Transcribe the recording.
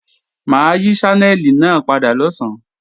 Mà á yí Ṣánẹ́lì náà padà lọ̀sán